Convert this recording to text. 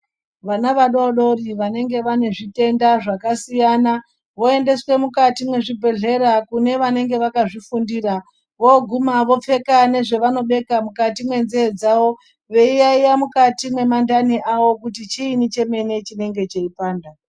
Vana vadodori vanange vane zvitenda zvakasiyana voendeswe mukati mwezvibhehleya kune vanenge vakazvifundira vooguma vopfeka nezvavanobeka mukati mwenzee dzavo veiyayiya mukati mwemandani awo kuti chiinyi chemene chinenge cheyipanda.